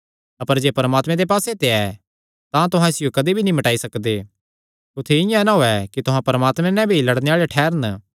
अपर जे परमात्मे दे पास्से ते ऐ तां तुहां इसियो कदी भी मिटाई नीं सकदे कुत्थी इआं ना होयैं कि तुहां परमात्मे नैं भी लड़णे आल़े ठैह़रन